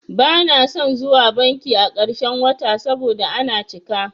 Bana son zuwa banki a ƙarshen wata saboda ana cika.